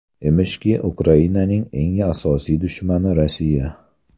Emishki, Ukrainaning eng asosiy dushmani Rossiya.